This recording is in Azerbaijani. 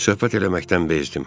Söhbət eləməkdən bezdim.